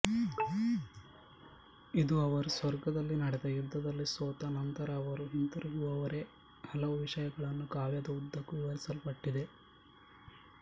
ಇದು ಅವರು ಸ್ವರ್ಗದಲ್ಲಿ ನಡೆದ ಯುದ್ಧದಲ್ಲಿ ಸೋತ ನಂತರ ಅವರು ಹಿಂತಿರುಗುವವರೆ ಹಲವು ವಿಷಯಗಳನ್ನು ಕಾವ್ಯದ ಉದ್ದಕ್ಕೂ ವಿವರಿಸಲ್ಪಟ್ಟಿದೆ